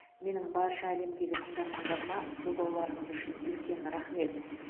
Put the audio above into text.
менің барша әлемдегі тыңдармандарыма қолдауларыңыз үшін үлкен рақмет